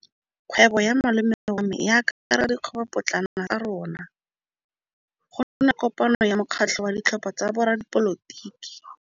Kgwêbô ya malome wa me e akaretsa dikgwêbôpotlana tsa rona. Go na le kopanô ya mokgatlhô wa ditlhopha tsa boradipolotiki.